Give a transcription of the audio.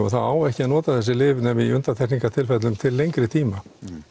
þá á ekki að nota þessi lyf nema í undantekningartilfellum til lengri tíma